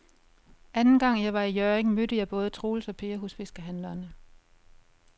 Anden gang jeg var i Hjørring, mødte jeg både Troels og Per hos fiskehandlerne.